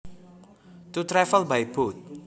To travel by boat